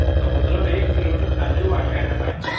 ସମୁଦ୍ର ଏକ କିଲୋମେଟର ଚାଲି ଯିବୁ ଆଣ୍ଠେ ଆଣ୍ଠେ ପାଣି ଅଛି